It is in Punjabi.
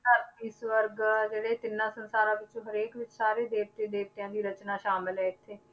ਘਰ ਈਸ਼ਵਰ ਦਾ ਜਿਹੜੇ ਤਿੰਨਾ ਸੰਸਾਰਾਂ ਵਿੱਚੋਂ ਹਰੇਕ ਵੀ ਸਾਰੇ ਦੇਵਤੇ ਦੇਵਤਿਆਂ ਦੀ ਰਚਨਾ ਸਾਮਿਲ ਹੈ ਇੱਥੇ